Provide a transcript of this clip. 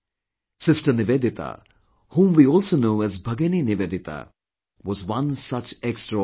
Sister Nivedita, whom we also know as Bhagini Nivedita, was one such extraordinary person